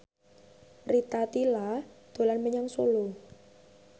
Rita Tila dolan menyang Solo